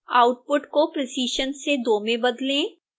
output को precision से 2 में बदलें